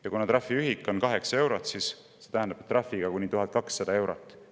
" Ja kuna trahviühik on kaheksa eurot, siis see tähendab, trahviga kuni 1200 eurot.